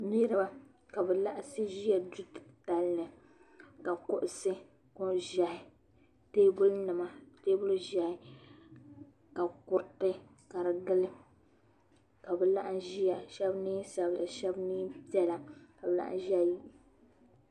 niriba ka be laɣisi ʒɛya ka kuɣisi ʒiɛhi tɛbuli nima tɛbuli ʒiɛhi la kuritɛ gili ka dmbw laɣim zaya shɛbi nɛɛ sabila shɛbi nɛɛ ʒiɛhi